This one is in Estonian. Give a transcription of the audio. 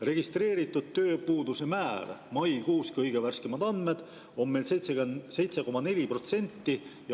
Registreeritud tööpuuduse määr maikuus – kõige värskemad andmed – on meil 7,4%.